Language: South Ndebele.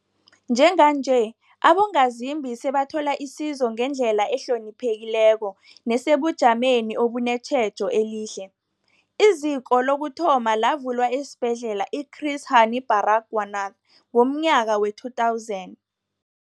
Njenganje, abongazimbi sebathola isizo ngendlela ehloniphekileko nesebujameni obunetjhejo elihle. IZiko lokuthoma lavulwa esiBhedlela i-Chris Hani Baragwanath ngomnyaka we-2000.